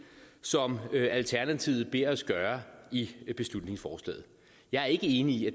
som alternativet beder os gøre i beslutningsforslaget jeg er ikke enig i at